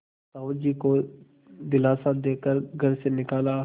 साहु जी को दिलासा दे कर घर से निकाला